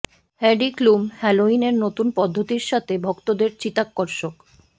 Heidi Klum Halloween এর নতুন পদ্ধতির সাথে ভক্তদের চিত্তাকর্ষক